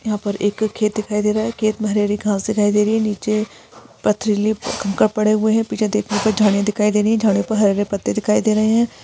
यहाँ पर एक खेत दिखाई दे रहा है खेत में हरी हरी घास दिखाई दे रही है निचे पथरिले कंकर पड़े हुए हैं पीछे देखने पर झाडिया दिखाई दे रही है झाडियों पर हरे हरे पत्ते दिखाई दे रहे है।